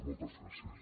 moltes gràcies